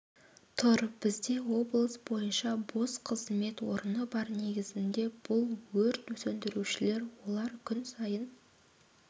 тұр бізде облыс бойынша бос қызмет орны бар негізінде бұл өрт сөндірушілер олар күн сайын